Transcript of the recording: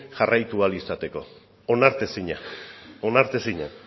jarraitu ahal izateko onartezina onartezina